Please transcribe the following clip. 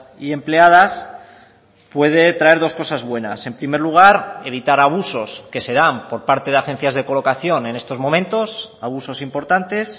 y empleadas puede traer dos cosas buenas en primer lugar evitar abusos que se dan por parte de agencias de colocación en estos momentos abusos importantes